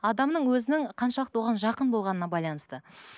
адамның өзінің қаншалықты оған жақын болғанына байланысты